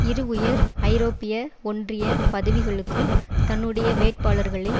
இரு உயர் ஐரோப்பிய ஒன்றிய பதவிகளுக்கும் தன்னுடைய வேட்பாளர்களை